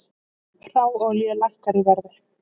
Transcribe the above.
Hráolía lækkar í verði